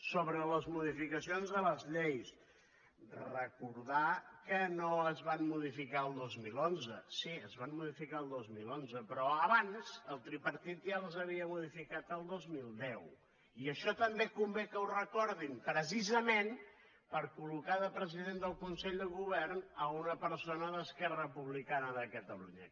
sobre les modificacions de les lleis recordar que no es van modificar el dos mil onze sí es van modificar el dos mil onze però abans el tripartit ja les havia modificat el dos mil deu i això també convé que ho recordin precisament per col·d’esquerra republicana de catalunya